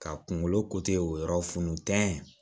Ka kunkolo o yɔrɔ funun